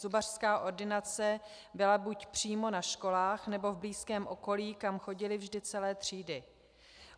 Zubařská ordinace byla buď přímo na školách, nebo v blízkém okolí, kam chodily vždy celé třídy.